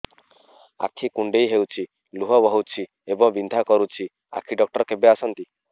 ଆଖି କୁଣ୍ଡେଇ ହେଉଛି ଲୁହ ବହୁଛି ଏବଂ ବିନ୍ଧା କରୁଛି ଆଖି ଡକ୍ଟର କେବେ ଆସନ୍ତି